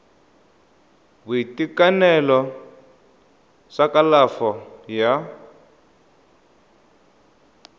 sa boitekanelo sa kalafo ya